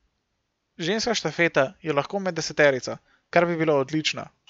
Ženska štafeta je lahko med deseterico, kar bi bilo odlično.